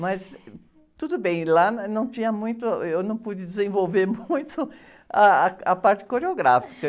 Mas tudo bem, lá, eh, não tinha muito, eu não pude desenvolver muito ah, a parte coreográfica.